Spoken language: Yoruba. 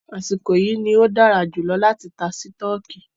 Àsìkò yìí ní o dára jùlọ láti tá sítọ̀kì.